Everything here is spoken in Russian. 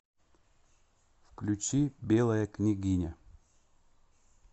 включи белая княгиня